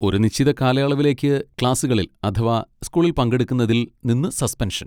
ഒരു നിശ്ചിത കാലയളവിലേക്ക് ക്ലാസ്സുകളിൽ അഥവാ സ്കൂളിൽ പങ്കെടുക്കുന്നതിൽ നിന്ന് സസ്പെൻഷൻ.